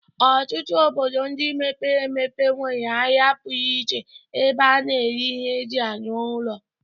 Ọtụtụ obodo ndị mepere emepe nwere ahịa pụrụ iche ebe a na-ere ihe eji arụ ụlọ.